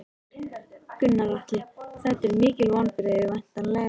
Gunnar Atli: Þetta eru mikil vonbrigði væntanlega?